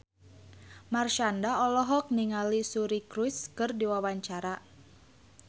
Marshanda olohok ningali Suri Cruise keur diwawancara